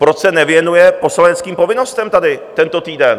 Proč se nevěnuje poslaneckým povinnostem tady tento týden?